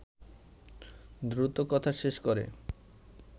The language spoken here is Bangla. দ্রুত কথা শেষ করে